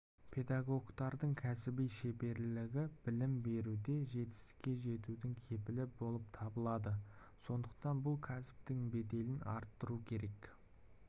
педагогтардың кәсіби шеберлігі білім беруде жетістікке жетудің кепілі болып табылады сондықтан бұл кәсіптің беделін арттыру керек